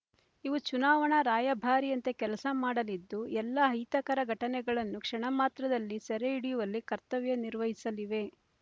ಇವು ಚುನಾವಣಾ ರಾಯಭಾರಿಯಂತೆ ಕೆಲಸ ಮಾಡಲಿದ್ದು ಎಲ್ಲ ಅಹಿತಕರ ಘಟನೆಗಳನ್ನು ಕ್ಷಮಮಾತ್ರದಲ್ಲಿ ಸೆರೆ ಹಿಡಿಯುವಲ್ಲಿ ಕರ್ತವ್ಯ ನಿರ್ವಹಿಸಲಿವೆ